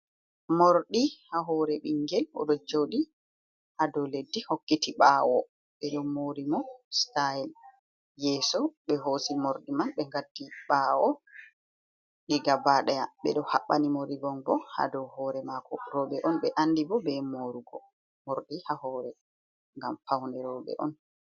Mordi ha hore bingel odo jodi ha do leddi hokkiti bawo bedo mori mo stayl yeso, be hosi mordi man be gatti ɓawo diga badea be do habbani mo rivongo hado hore mako roɓe on be andi bo be romordi ha hore gam pawne robe on.